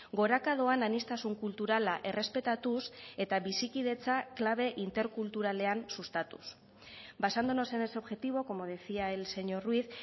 goraka doan aniztasun kulturala errespetatuz eta bizikidetza klabe interkulturalean sustatuz basándonos en ese objetivo como decía el señor ruiz